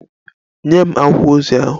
Nye m akwụkwọ ozi ahụ!